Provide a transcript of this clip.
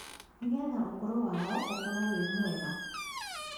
Nĩgetha ũkũrũ wao ũkorwo wĩ mwega